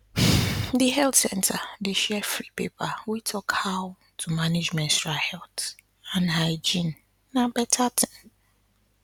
the health center dey share free paper wey talk how to manage menstrual health and hygiene na better thing